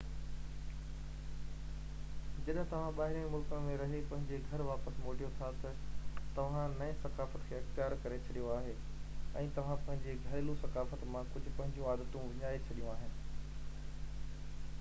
جڏهن توهان ٻاهرين ملڪ ۾ رهي پنهنجي گهر واپس موٽيو ٿا تہ توهان نئي ثقافت کي اختيار ڪري ڇڏيو آهي ۽ توهان پنهنجي گهريلو ثقافت مان ڪجهہ پنهنجيون عادتون وڃائي ڇڏيون آهن